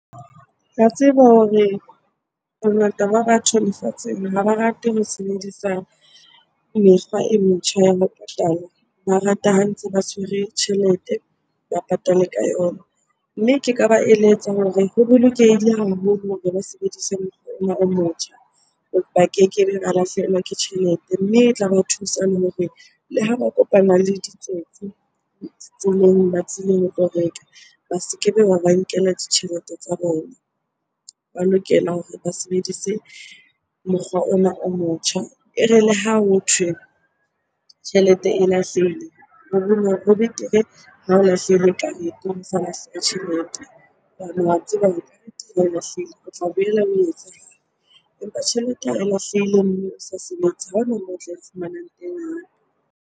Ke a tseba hore bongata ba batho lefatsheng ha ba rate ho sebedisa mekgwa e metjha ya ho patala. Ba rata ha ntse ba tshwere tjhelete, ba patale ka yona. Mme ke ka ba eletsa hore ho bolokehile haholo hore ba sebedise mokgwa ona o motjha, ba kekebe ba lahlehelwa ke tjhelete. Mme e tla ba thusa le hore le ha ba kopana le ditsotsi tseleng ba tlile ho tlo reka, ba se kebe ba ba nkela ditjhelete tsa bona. Ba lokela hore ba sebedise mokgwa ona o motjha. E re le ha hothwe tjhelete e lahlehile, o ho betere ha o lahlehile ka nnete ho sa lahleha tjhelete. Hobane wa tseba e lahlehile, o tla boela o . Empa tjhelete ha e lahlehile mme o sa sebetse, ha ona moo o tla e fumanang teng hape.